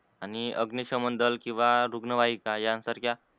आणि अग्निशमन दल किवा रुग्ण वाहिका या सारख्या